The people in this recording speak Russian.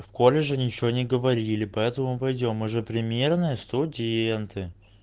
в колледже ничего не говорили поэтому пойдём мы же примерные студенты